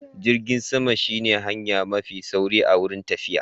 Jirgin sama shi ne hanya mafi sauri wurin tafiya